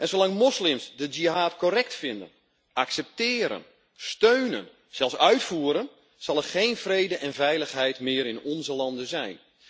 Zolang moslims de jihad correct vinden, accepteren, steunen, zelfs uitvoeren, zal er geen vrede en veiligheid meer in onze landen zijn.